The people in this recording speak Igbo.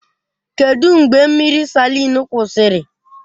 Kedụ mgbe mmiri Salịn kwụsịrị?